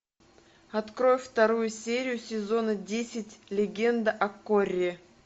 открой вторую серию сезона десять легенда о корре